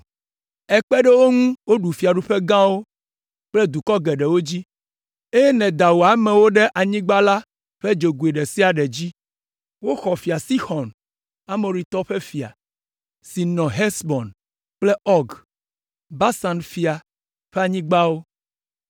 “Èkpe ɖe wo ŋu woɖu fiaɖuƒe gãwo kple dukɔ geɖewo dzi, eye nèda wò amewo ɖe anyigba la ƒe dzogoe ɖe sia ɖe dzi. Woxɔ Fia Sixɔn, Amoritɔwo ƒe fia, si nɔ Hesbon kple Ɔg, Basan fia, ƒe anyigbawo.